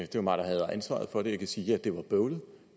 det var mig der havde ansvaret for det kan sige at det var bøvlet